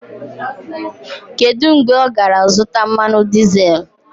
Kedu mgbe ọ gara zụta mmanụ dizel?